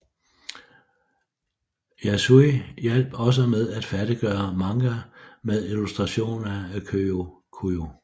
Yasui hjap også med at færdiggøre manga med illustrationer af Kiyo Kujō